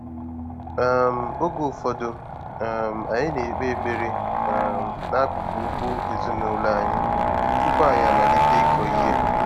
um Oge ụfọdụ, um anyị na-ekpe ekpere um n'akụkụ ugbo ezinụlọ anyị tupu anyị amalite ịkọ ihe.